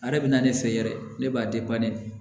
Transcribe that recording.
A yɛrɛ bɛ na ne fɛ yɛrɛ ne b'a ne